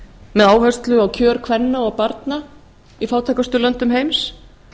með áherslu á kjör kvenna og barna í fátækustu löndum heims